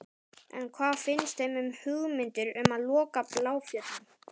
En hvað finnst þeim um hugmyndir um að loka Bláfjöllum?